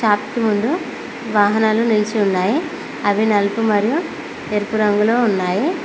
Shop కి ముందు వాహనాలు నిలిసి ఉన్నాయి అవి నలుపు మరియు ఎరుపు రంగులో ఉన్నాయి.